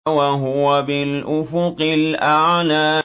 وَهُوَ بِالْأُفُقِ الْأَعْلَىٰ